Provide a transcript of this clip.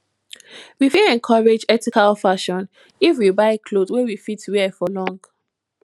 we fit encourage ethical fashion if we buy cloth wey we fit wear for long